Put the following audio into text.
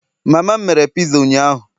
mama m mere piza ụnyaahụ